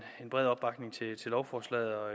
bred opbakning til lovforslaget og